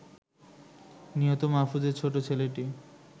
নিহত মাহফুজের ছোট ছেলেটি